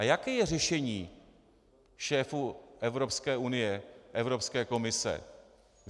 A jaké je řešení šéfů Evropské unie, Evropské komise?